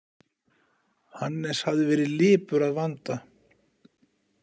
Hannes hafði verið lipur að vanda.